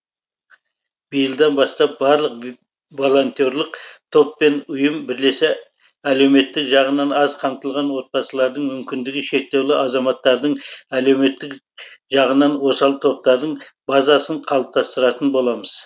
биылдан бастап барлық волонтерлық топ пен ұйым бірлесе әлеуметтік жағынан аз қамтылған отбасылардың мүмкіндігі шектеулі азаматтардың әлеуметтік жағынан осал топтардың базасын қалыптастыратын боламыз